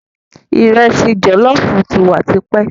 Ìresì jòlóoófu ti wa tipẹ́.